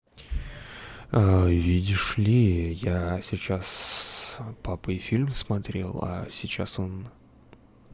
видишь ли я сейчас с папой фильм смотрел а сейчас он